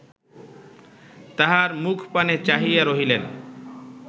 তাঁহার মুখপানে চাহিয়া রহিলেন